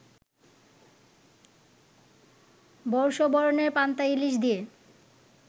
বর্ষবরণের পান্তা ইলিশ দিয়ে